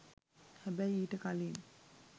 හැබැයි ඊට කලින්